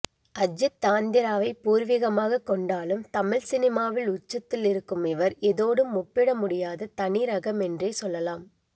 அஜித் ஆந்திராவை பூர்விகமாக கொண்டாலும் தமிழ் சினிமாவில் உச்சத்தில் இருக்கும் இவர் எதோடும் ஒப்பிடமுடியாத தனி ரகம் என்றே சொல்லலாம்